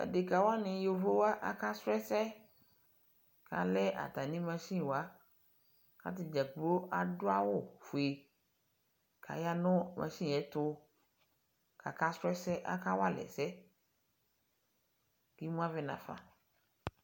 Adekawani YOvowa aka srɔ ɛsɛ kalɛ atami machin wa katadʒakplo adʋ awʋfue kayanʋ machin ɛtʋkaka srɔ ɛsɛ, kakawalɛ ɛsɛ kimu avɛ naƒa